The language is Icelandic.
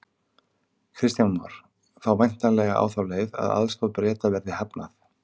Kristján Már: Þá væntanlega á þá leið að aðstoð Breta verði hafnað?